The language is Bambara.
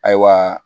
Ayiwa